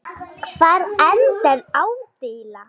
Hvar endar ádeila?